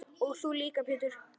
Og þú líka Pétur.